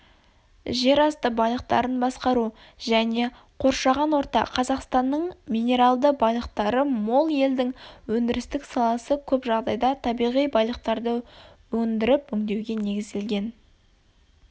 жер асты байлықтарын басқару және қоршаған орта қазақстанның минералды байлықтары мол елдің өндірістік саласы көп жағдайда табиғи байлықтарды өндіріп-өңдеуге негізделген